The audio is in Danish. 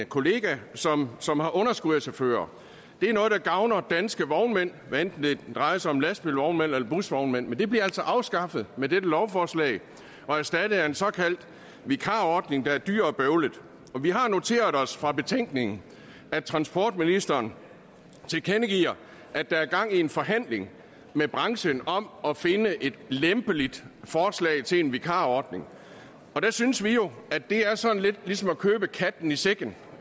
kollega som som har underskud af chauffører det er noget der gavner danske vognmænd hvad enten det drejer sig om lastbilvognmænd eller busvognmænd men det bliver altså afskaffet med dette lovforslag og erstattet af en såkaldt vikarordning der er dyr og bøvlet vi har noteret os fra betænkningen at transportministeren tilkendegiver at der er gang i en forhandling med branchen om at finde et lempeligt forslag til en vikarordning og der synes vi jo at det er sådan lidt ligesom at købe katten i sækken